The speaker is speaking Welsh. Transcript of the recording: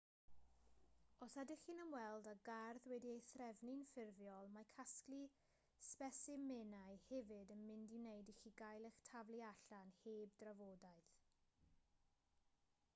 os ydych chi'n ymweld â gardd wedi'i threfnu'n ffurfiol mae casglu sbesimenau hefyd yn mynd i wneud i chi gael eich taflu allan heb drafodaeth